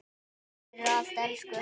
Takk fyrir allt, elsku Hanna.